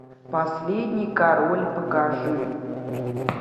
последний король покажи